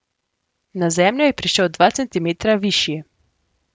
Na Zemljo je prišel dva centimetra višji.